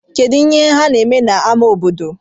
Kedụ ihe ha na-eme n'amá obodo?